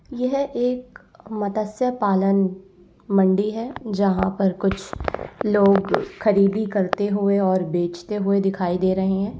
यह एक मत्स्य पालन मंडी है जहां पर कुछ लोग खरीदी करते हुए और बेजते हुए दिखाई दे रहे हैं।